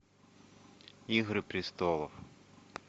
игры престолов